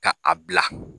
Ka a bila